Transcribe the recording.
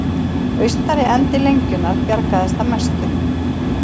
Austari endi lengjunnar bjargaðist að mestu